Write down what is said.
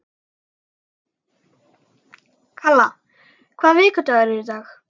Kalla, hvaða vikudagur er í dag?